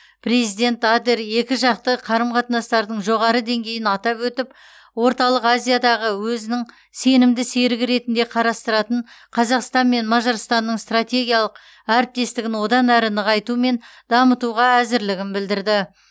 президент адер екіжақты қарым қатынастардың жоғары деңгейін атап өтіп орталық азиядағы өзінің сенімді серігі ретінде қарастыратын қазақстанмен мажарстанның стратегиялық әріптестігін одан әрі нығайту мен дамытуға әзірлігін білдірді